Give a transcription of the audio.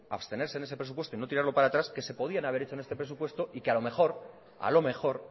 abstenerse en ese presupuesto y no tirarlo para atrás que se podían haber hecho en este presupuesto y que a lo mejor